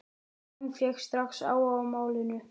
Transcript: Jón fékk strax áhuga á málinu.